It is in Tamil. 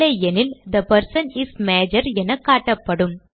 இல்லையெனில் தே பெர்சன் இஸ் மஜோர் என காட்டப்படும்